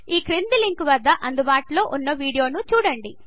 ఈ క్రింది లింక్వద్ద అందుబాటులో ఉన్న వీడియోను చూడండి